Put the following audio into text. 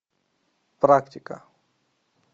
практика